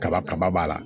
Kaba kaba b'a la